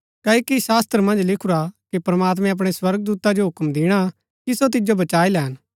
क्ओकि शास्‍त्र मन्ज लिखुरा कि प्रमात्मैं अपणै स्वर्गदूता जो हुक्म दिणा कि सो तिजो बचाई लैन